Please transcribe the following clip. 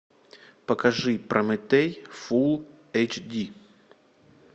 покажи прометей фул эйч ди